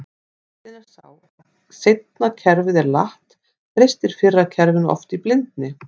Vandinn er sá að seinna kerfið er latt, treystir fyrra kerfinu oft í blindni.